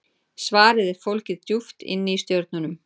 Svarið er fólgið djúpt inni í stjörnunum.